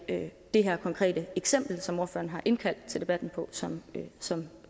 det her konkrete eksempel som ordføreren har indkaldt til debatten på som som